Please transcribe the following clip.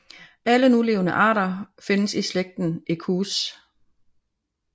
Alle nulevende arter findes i slægten Equus